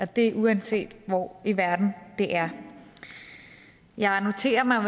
det er uanset hvor i verden det er jeg noterer mig at